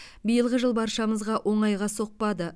биылғы жыл баршамызға оңайға соқпады